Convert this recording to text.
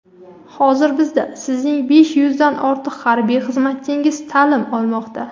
Hozir bizda sizning besh yuzdan ortiq harbiy xizmatchingiz ta’lim olmoqda.